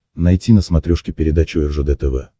найти на смотрешке передачу ржд тв